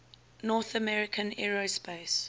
north american aerospace